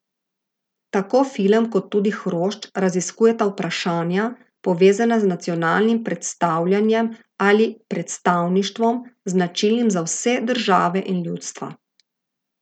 Tako film kot tudi hrošč raziskujeta vprašanja, povezana z nacionalnim predstavljanjem ali predstavništvom, značilnim za vse države in ljudstva.